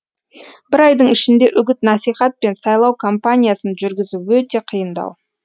бір айдың ішінде үгіт насихат пен сайлау кампаниясын жүргізу өте қиындау